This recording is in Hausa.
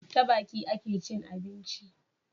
Ta Baki akecin abinci